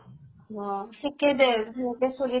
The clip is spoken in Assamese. অহ, ঠিকে দে। সেনেকে চলি থাক